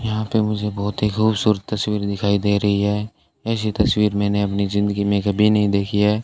यहां पे मुझे बहुत ही खूबसूरत तस्वीर दिखाई दे रही है ऐसी तस्वीर मैंने अपनी जिंदगी में कभी नहीं देखी है।